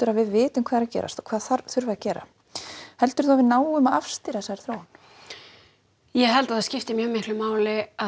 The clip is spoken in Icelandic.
að við vitum hvað er að gerast og hvað þarf að gera heldurðu að við náum að afstýra þessari þróun ég held að það skipti miklu máli að